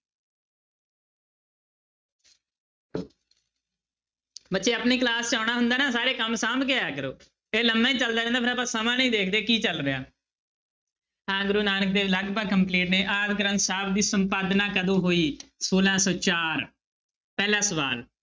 ਬੱਚੇ ਆਪਣੀ class 'ਚ ਆਉਣਾ ਹੁੰਦਾ ਨਾ ਸਾਰੇ ਕੰਮ ਸਾਂਭ ਕੇ ਆਇਆ ਕਰੋ ਇਹ ਲੰਮਾ ਹੀ ਚੱਲਦਾ ਰਹਿੰਦਾ ਫਿਰ ਆਪਾਂ ਸਮਾਂ ਦੀ ਦੇਖਦੇ ਕੀ ਚੱਲ ਰਿਹਾ ਹਾਂ ਗੁਰੂ ਨਾਨਕ ਦੇਵ ਲਗਪਗ complete ਹੈ ਆਦਿ ਗ੍ਰੰਥ ਸਾਹਿਬ ਦੀ ਸੰਪਾਦਨਾ ਕਦੋਂ ਹੋਈ, ਛੋਲਾਂ ਸੌ ਚਾਰ ਪਹਿਲਾ ਸਵਾਲ।